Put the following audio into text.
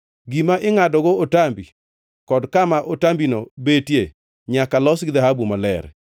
Gima ingʼadogo otambi kod kama otambino betie nyaka los gi dhahabu maler.